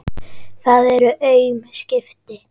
Það eru aum skipti.